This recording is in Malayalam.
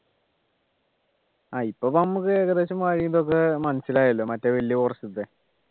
ആഹ് ഇപ്പൊ നമുക്ക് ഏകദേശം വഴി ഇതൊക്കെ മനസിലായല്ലോ മറ്റേ വല്യ forest ത്തെ